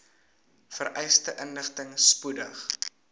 vereiste inligting spoedig